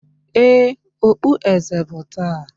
Ee, okpueze bụ taa